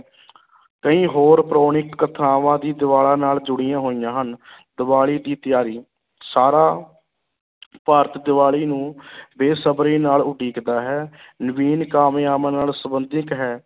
ਕਈ ਹੋਰ ਪੌਰਾਣਿਕ ਕਥਾਵਾਂ ਦੀ ਨਾਲ ਜੁੜੀਆਂ ਹੋਈਆਂ ਹਨ ਦੀਵਾਲੀ ਦੀ ਤਿਆਰੀ, ਸਾਰਾ ਭਾਰਤ ਦੀਵਾਲੀ ਨੂੰ ਬੇਸਬਰੀ ਨਾਲ ਉਡੀਕਦਾ ਹੈ ਨਵੀਨ ਕਾਮਨਾਵਾਂ ਨਾਲ ਸੰਬੰਧਿਤ ਹੈ